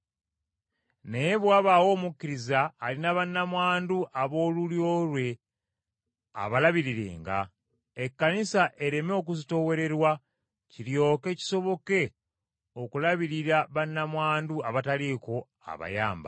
Naye bwe wabaawo omukkiriza alina bannamwandu ab’olulyo lwe abalabirirenga, Ekkanisa ereme okuzitoowererwa, kiryoke kisoboke okulabirira bannamwandu abataliiko abayamba.